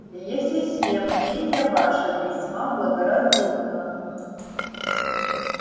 э-хе-хе мнение ваше весьма благоразумно